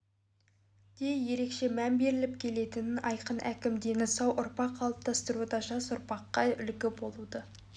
де ерекше мән беріліп келетінін айтқан әкім дені сау ұрпақ қалыптастыруда жас ұрпаққа үлгі болуды